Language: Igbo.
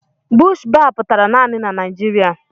Bush baa pụtara naanị na Naịjiria.